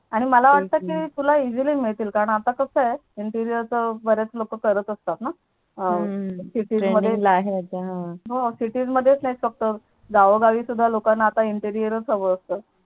आणि मला वाट कि तुला Easily मिळतील कारण आता कास आहे Interier च बराच लोक करत असतात ना हम्म City मध्ये Cities मध्येच नाही फक्त गावोगावी सुद्धा लोकांना Interier च हवं असत